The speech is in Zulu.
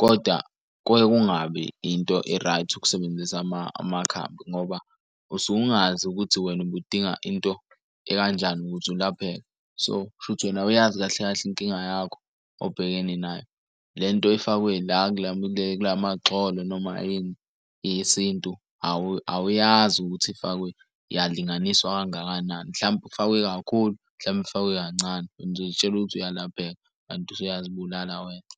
Koda kuke kungabi into e-right ukusebenzisa amakhambi ngoba usuke ungazi ukuthi wena ubudinga into ekanjani ukuze ulapheke. So, k'shuthi wena awuyazi kahle kahle inkinga yakho obhekene nayo, le nto efakwe la kulamagxolo noma yini yesintu awuyazi ukuthi ifakwe yalinganiswa kangakanani. Mhlampe ifakwe kakhulu, mhlampe ifakwe kancane wena uzoy'tshela ukuthi uyalapheka kanti usuyazibulala wena.